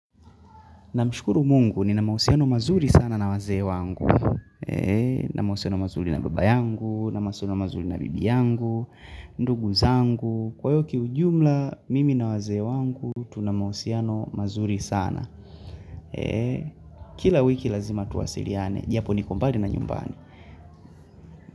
Na mshukuru mungu, nina mausiano mazuri sana na wazee wangu. Eee, nina mausiano mazuri na baba yangu, nina mausiano mazuri na bibi yangu, ndugu zangu. Kwa hio ki ujumla, mimi na wazee wangu, tunamausiano mazuri sana. Eee, kila wiki lazima tuwasiliane, japo nikombali na nyumbani.